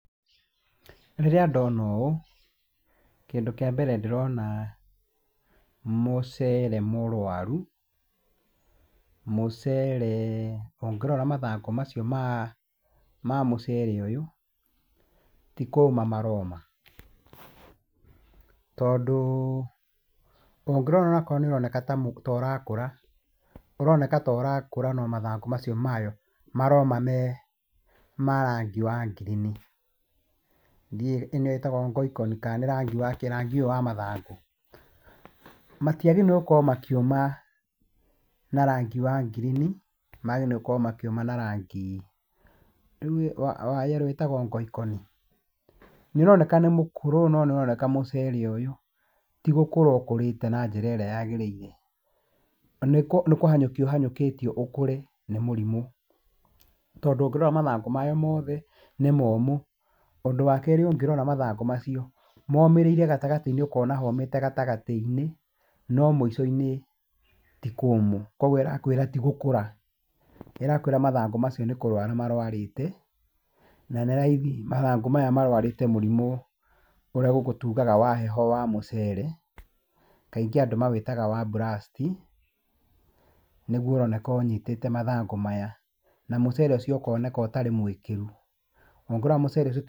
Rĩrĩa ndona ũũ, kĩndũ kĩa mbere ndĩrona mũcere mũrũaru, mũcere, ũngĩrora mathangũ macio ma mũcere ũyũ, ti kũma maroma. Tondũ ũngĩrora onakorwo nĩũroneka ta ũrakũra, ũroneka ta ũrakũra no mathangũ macio mayo maroma me ma rangi wa green. Ndiũĩ ĩno ĩtagwo ngoikoni kana nĩ rangi wa kĩĩ rangi ũyũ wa mathangũ. Matiagĩrĩirwo nĩgũkorwo makĩũma na rangi wa green, magĩrĩirwo nĩ gũkorwo makĩũma na rangi, rĩu wa yellow wĩtagwo ngoikoni? Nĩũroneka nĩ mũkũrũ no nĩũroneka mũcere ũyũ ti gũkũra ũkũrĩte na njĩra ĩrĩa yagĩrĩire. Nĩ kũhanyũkio ũhanyũkitio ũkũre nĩ mũrimũ. Tondũ ũngĩrora mathangũ mayo mothe nĩ momũ. Ũndũ wa kerĩ ũngĩrora mathangũ macio momĩrĩire gatagatĩ-inĩ ũkona homĩte gatagatĩ-inĩ, no mũico-inĩ ti kũmũ. Koguo ĩrakwĩra ti gũkũra. Ĩrakwĩra mathangũ macio nĩ kũrũara marwarĩte, na nĩ raithi mathangũ maya marwarĩte mũrimũ ũrĩa gũkũ tugaga wa heho wa mũcere. Kaingĩ andũ mawĩtaga wa blast. Niguo ũroneka ũnyitĩte mathangũ maya. Na mũcere ũcio ũkoneka ũtarĩ mwĩkĩru. Ũngĩrora mũcere ũcio.